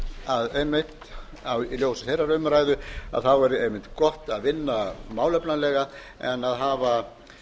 kenna okkur að í ljósi þeirrar umræðu er einmitt gott að vinna málefnalega en að hafa